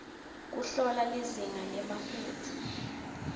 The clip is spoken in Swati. kuhlola lizinga lemafutsa